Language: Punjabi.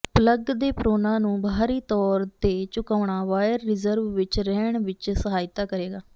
ਪਲਗ ਦੇ ਪ੍ਰੋਨਾਂ ਨੂੰ ਬਾਹਰੀ ਤੌਰ ਤੇ ਝੁਕਾਉਣਾ ਵਾਇਰ ਰਿਜ਼ਰਵ ਵਿੱਚ ਰਹਿਣ ਵਿੱਚ ਸਹਾਇਤਾ ਕਰੇਗਾ